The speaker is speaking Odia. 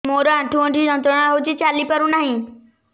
ମୋରୋ ଆଣ୍ଠୁଗଣ୍ଠି ଯନ୍ତ୍ରଣା ହଉଚି ଚାଲିପାରୁନାହିଁ